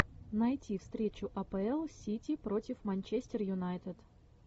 найти встречу апл сити против манчестер юнайтед